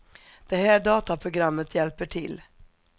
Det är här dataprogrammet hjälper till.